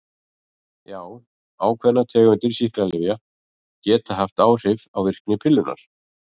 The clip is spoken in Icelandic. Já, ákveðnar tegundir sýklalyfja geta haft áhrif á virkni pillunnar.